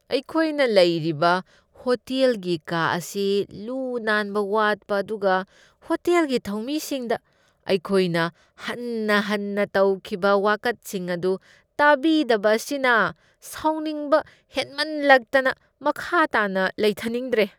ꯑꯩꯈꯣꯏꯅ ꯂꯩꯔꯤꯕ ꯍꯣꯇꯦꯜꯒꯤ ꯀꯥ ꯑꯁꯤ ꯂꯨ ꯅꯥꯟꯕ ꯋꯥꯠꯄ ꯑꯗꯨꯒ ꯍꯣꯇꯦꯜꯒꯤ ꯊꯧꯃꯤꯁꯤꯡꯗ ꯑꯩꯈꯣꯏꯅ ꯍꯟꯅ ꯍꯟꯅ ꯇꯧꯈꯤꯕ ꯋꯥꯀꯠꯁꯤꯡ ꯑꯗꯨ ꯇꯥꯕꯤꯗꯕ ꯑꯁꯤꯅ ꯁꯥꯎꯅꯤꯡꯕ ꯍꯦꯟꯃꯟꯂꯛꯇꯅ ꯃꯈꯥ ꯇꯥꯅ ꯂꯩꯊꯅꯤꯡꯗ꯭ꯔꯦ꯫